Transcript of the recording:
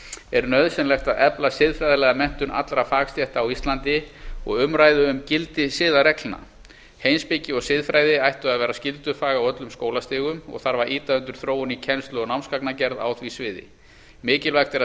er nauðsynlegt að efla siðfræðilega menntun allra fagstétta á íslandi og umræðu um gildi siðareglna heimspeki og siðfræði ættu að vera skyldufag á öllum skólastigum og þarf að ýta undir þróun í kennslu og námsgagnagerð á því sviði mikilvægt er að